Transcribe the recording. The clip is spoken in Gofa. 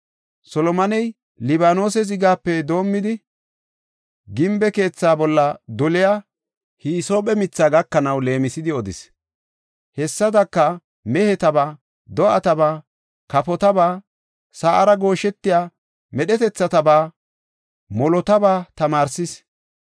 Solomoney Libaanose zigape doomidi, gimbe keetha bolla doliya hisoophe mithaa gakanaw leemisidi odis. Hessadaka, mehetaba, do7ataba, kafotaba, sa7ara gooshetiya medhetethataba molotaba tamaarsis.